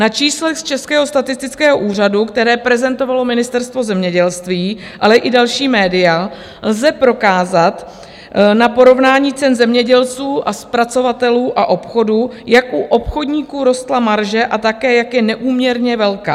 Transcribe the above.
Na číslech z Českého statistického úřadu, která prezentovalo Ministerstvo zemědělství, ale i další média, lze prokázat na porovnání cen zemědělců a zpracovatelů a obchodů, jak u obchodníků rostla marže a také jak je neúměrně velká.